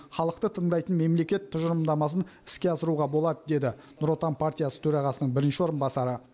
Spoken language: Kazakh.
халықты тыңдайтын мемлекет тұжырымдамасын іске асыруға болады деді нұр отан партиясы төрағасының бірінші орынбасары